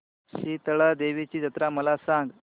शितळा देवीची जत्रा मला सांग